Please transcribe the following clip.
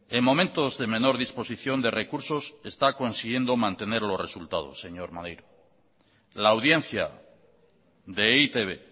en momentos de menor disposición de recursos está consiguiendo mantener los resultados señor maneiro la audiencia de e i te be